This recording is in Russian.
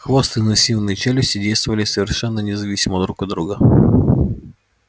хвост и массивные челюсти действовали совершенно независимо друг от друга